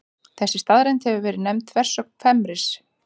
Þessi staðreynd hefur verið nefnd þversögn Fermis.